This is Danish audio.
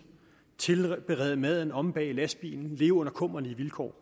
tilberede maden omme bag i lastbilen og leve under kummerlige vilkår